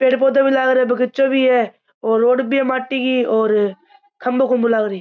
पेड़ पौधे भी लाग रिया बगीचाे भी है और रोड भी है माटी की और खम्बो खुम्बो लागरी।